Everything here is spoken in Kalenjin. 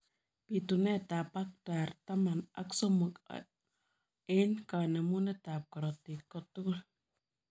Pituneet ap paktar taman ak somok eng kanemuneet ap korotik kotugul